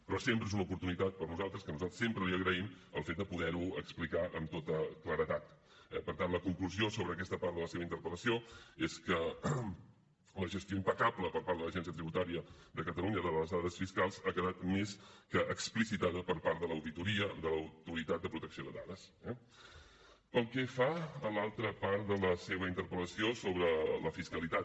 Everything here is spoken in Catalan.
però sempre és una oportunitat per a nosaltres que nosaltres sempre li agraïm el fet de poder ho explicar amb tota claredat eh per tant la conclusió sobre aquesta part de la seva interpel·lació és que la gestió impecable per part de l’agència tributària de catalunya de les dades fiscals ha quedat més que explicitada per part de l’auditoria de l’autoritat de protecció de dades eh pel que fa a l’altra part de la seva interpel·lació sobre la fiscalitat